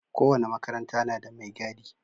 Kowane makaranta na da mai gadi.